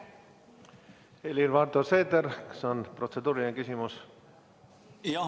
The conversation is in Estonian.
Helir-Valdor Seeder, kas on protseduuriline küsimus?